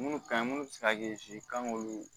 Munnu ka ɲi munnu bɛ se ka kɛ kan k'olu